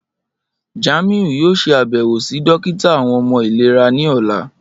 Jamiu yoo ṣe abẹwo si dokita awọn ọmọ ilera ni ọla.